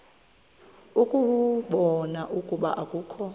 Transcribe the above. ukubona ukuba akukho